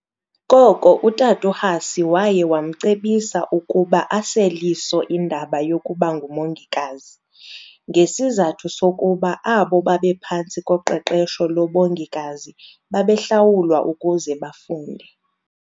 Koko uTat' uHussy waye wamcebisa ukuba asel' iso indaba yokubanguMongikazi, ngesizathu sokuba abo babephantsi koqeqesho lobongikazi babehlawulwa ukuze bafunde.